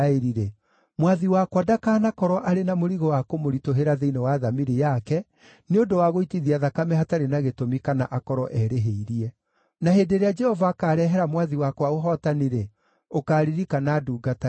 mwathi wakwa ndakanakorwo arĩ na mũrigo wa kũmũritũhĩra thĩinĩ wa thamiri yake nĩ ũndũ wa gũitithia thakame hatarĩ na gĩtũmi kana akorwo erĩhĩirie. Na hĩndĩ ĩrĩa Jehova akaarehera mwathi wakwa ũhootani-rĩ, ũkaaririkana ndungata yaku.”